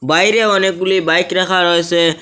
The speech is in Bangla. বাইরে অনেকগুলি বাইক রাখা রয়েছে।